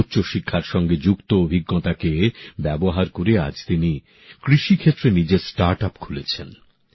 উচ্চ শিক্ষার সঙ্গে যুক্ত অভিজ্ঞতাকে ব্যবহার করে আজ তিনি কৃষিক্ষেত্রে নিজের স্টার্ট আপ খুলেছেন